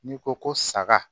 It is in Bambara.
N'i ko ko saga